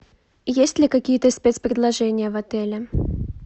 есть ли какие то спецпредложения в отеле